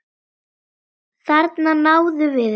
Þarna náðum við ykkur!